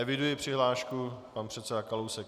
Eviduji přihlášku - pan předseda Kalousek.